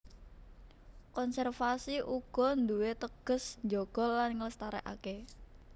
Konservasi uga nduwé teges njaga lan nglestarékaké